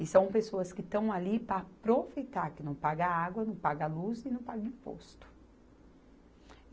E são pessoas que estão ali para aproveitar, que não paga água, não paga luz e não paga imposto.